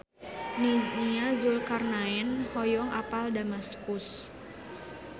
Nia Zulkarnaen hoyong apal Damaskus